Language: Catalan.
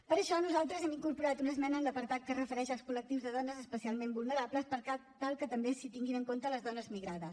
per això nosaltres hem incorporat una esmena en l’apartat que es refereix als col·lectius de dones especialment vulnerables per tal que també s’hi tinguin en compte les dones migrades